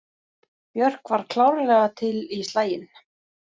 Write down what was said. Björk var klárlega til í slaginn.